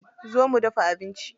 Zo mu dafa abinci.